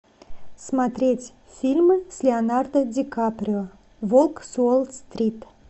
смотреть фильмы с леонардо ди каприо волк с уолл стрит